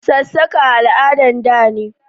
Sassaka al'adan da ne